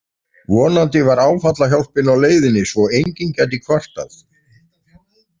Vonandi var áfallahjálpin á leiðinni svo að enginn gæti kvartað.